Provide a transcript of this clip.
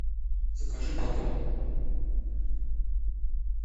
закажи батон